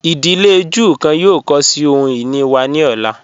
Idílé Júù kan yóò kọ sí ohun-ini wa ni ọ̀la.